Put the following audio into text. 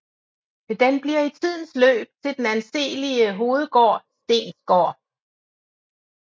Den bliver i tidens løb til den anselige hovedgård Steensgaard